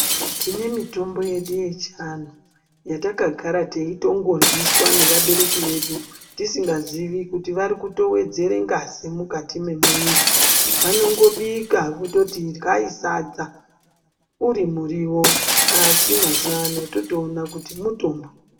Tinemitombi yedu yechi anhu, yatakagara tiyitengodliswa nevabereki vedu tisingazivi kuti varikutowedzere ngazi mukati memuiri . Vanongobika vototi idlayi sadza urimuriwo. Asi, mazuvano totowona kuti mutombo.